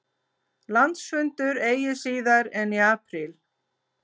Landsfundur eigi síðar en í apríl